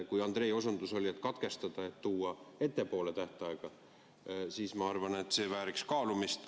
Andrei ütles, et tuleks katkestada, selleks et tuua tähtaega ettepoole, ja ma arvan, et see vääriks kaalumist.